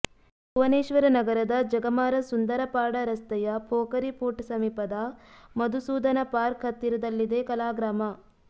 ಭುವನೇಶ್ವರ ನಗರದ ಜಗಮಾರಾ ಸುಂದರಪಾಡಾ ರಸ್ತೆಯ ಪೋಖರಿಪುಟ್ ಸಮೀಪದ ಮಧುಸೂದನ ಪಾರ್ಕ್ ಹತ್ತಿರದಲ್ಲಿದೆ ಕಲಾಗ್ರಾಮ